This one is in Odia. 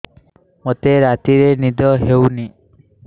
ମୋତେ ରାତିରେ ନିଦ ହେଉନି